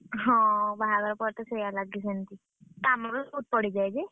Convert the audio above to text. ହଁ ବାହାଘର ପରେ ତ ସେଇଆଲାଗେ ସେମତି, କାମଗୁଡା ସବୁ ସରିଯାଏ ଯେ।